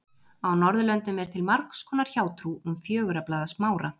Á Norðurlöndum er til margs konar hjátrú um fjögurra blaða smára.